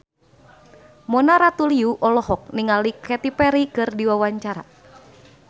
Mona Ratuliu olohok ningali Katy Perry keur diwawancara